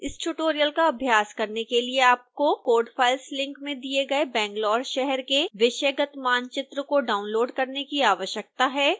इस ट्यूटोरियल का अभ्यास करने के लिए आपको code files लिंक में दिए गए bangalore शहर के विषयगत मानचित्र को डाउनलोड़ करने की आवश्यकता है